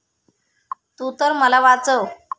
तू तर मला वाचव.